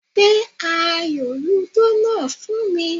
Gbé ayò lúdò náà fún mi